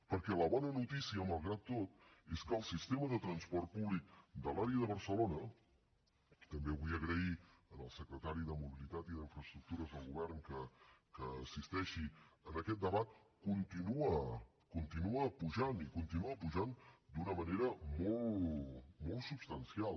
perquè la bona notícia malgrat tot és que el sistema de transport públic de l’àrea de barcelona també vull agrair al secretari de mobilitat i infraestructures del govern que assisteixi a aquest debat continua pujant i continua pujant d’una manera molt substancial